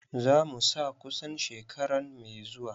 Za mu sa kusan shekaran mai zuwa.